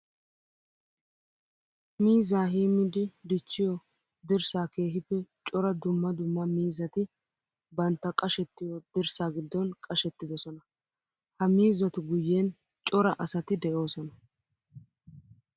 Miizza heemiddi dichchiyo dirssa keehippe cora dumma dumma miizzatti bantta qashettiyo dirssa gidon qashettidosonna. Ha miizzattu guyen cora asatti de'osonna.